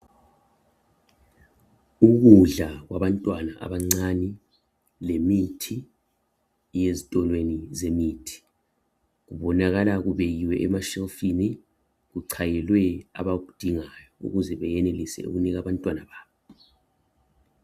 Ukudla kwabantwana abancane lemithi ezitolweni zemithi kubonakala kucayiwe emashelufini kucayelwe abakudingayo ukuze benelise ukunika abantwana babo.